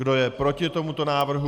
Kdo je proti tomuto návrhu?